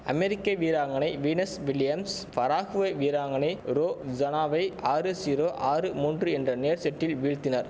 அமெரிக்க வீராங்கனை Venus Williams Paraguay வீராங்கனை ரோ ஜனாவை ஆறு ஜீரோ ஆறு மூன்று என்ற நேர் செட்டில் வீழ்த்தினர்